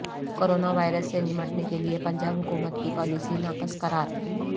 coronavirus سے نمٹنے کیلئے پنجاب حکومت کی پالیسی ناقص قرار